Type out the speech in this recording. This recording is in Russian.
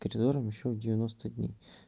ты что должен ещё девяноста дней